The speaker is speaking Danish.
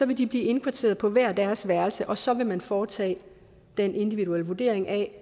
vil de blive indkvarteret på hver deres værelse og så vil man foretage den individuelle vurdering af